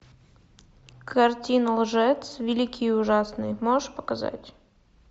картина лжец великий и ужасный можешь показать